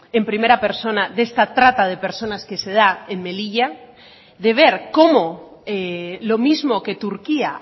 en primera persona de esta trata de personas que se da en melilla de ver cómo lo mismo que turquía